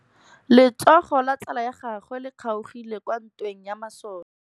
Letsôgô la tsala ya gagwe le kgaogile kwa ntweng ya masole.